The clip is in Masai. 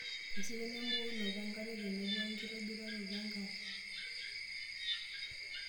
Esidano embukokinoto enkare tenebo wenkitobiraroto enkare.